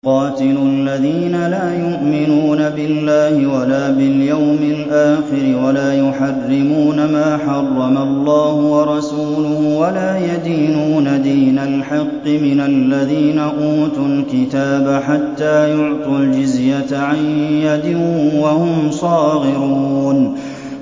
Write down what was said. قَاتِلُوا الَّذِينَ لَا يُؤْمِنُونَ بِاللَّهِ وَلَا بِالْيَوْمِ الْآخِرِ وَلَا يُحَرِّمُونَ مَا حَرَّمَ اللَّهُ وَرَسُولُهُ وَلَا يَدِينُونَ دِينَ الْحَقِّ مِنَ الَّذِينَ أُوتُوا الْكِتَابَ حَتَّىٰ يُعْطُوا الْجِزْيَةَ عَن يَدٍ وَهُمْ صَاغِرُونَ